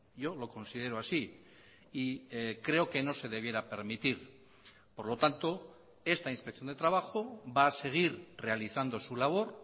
yo lo considero así y creo que no se debiera permitir por lo tanto esta inspección de trabajo va a seguir realizando su labor